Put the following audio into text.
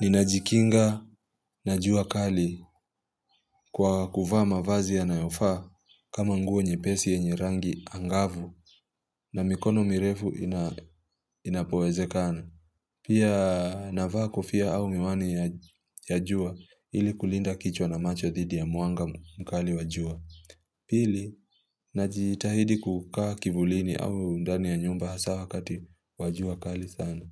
Ninajikinga na jua kali kwa kuvaa mavazi yanayofaa kama nguo nyepesi yenye rangi angavu na mikono mirefu inapo wezekana. Pia navaa kofia au miwani ya jua ili kulinda kichwa na macho dhidi ya mwanga mkali wa jua. Pili, najitahidi kukaa kivulini au ndani ya nyumba hasa wakati wa jua kali sana.